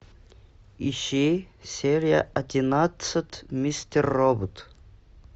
ищи серия одиннадцать мистер робот